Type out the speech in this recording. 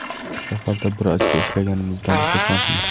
Safarda bir ochko ishlaganimizdan xursandmiz.